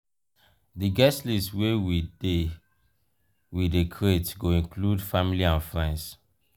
di guest list wey we dey we dey create go include family and friends.